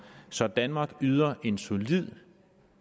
så danmark yder en solid